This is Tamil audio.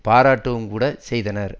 பாராட்டவும் கூட செய்தனர்